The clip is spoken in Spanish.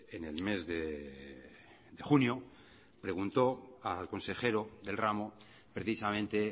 en el mes de junio preguntó al consejero del ramo precisamente